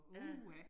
Ja